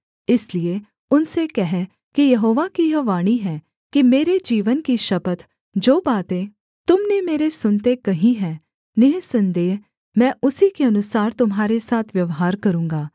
इसलिए उनसे कह कि यहोवा की यह वाणी है कि मेरे जीवन की शपथ जो बातें तुम ने मेरे सुनते कही हैं निःसन्देह मैं उसी के अनुसार तुम्हारे साथ व्यवहार करूँगा